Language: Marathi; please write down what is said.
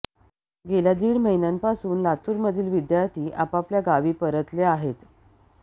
गेल्या दीड महिन्यापासून लातूरमधील विद्यार्थी आपापल्या गावी परतले आहेत